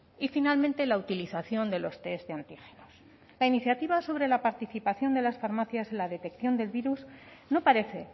y finalmente la utilización de los test de antígenos la iniciativa sobre la participación de las farmacias en la detección del virus no parece